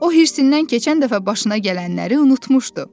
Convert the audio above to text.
o hirsindən keçən dəfə başına gələnləri unutmuşdu.